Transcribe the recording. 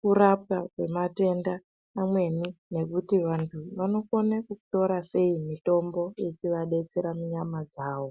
kurapa kwematenda amweni nekuti vantu vanokone kutora sei mitombo ichivadetsera munyama dzavo.